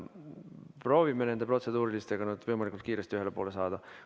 Proovime nüüd protseduuriliste küsimustega võimalikult kiiresti ühele poole saada.